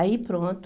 Aí pronto.